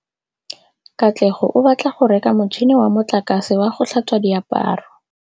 Katlego o batla go reka motšhine wa motlakase wa go tlhatswa diaparo.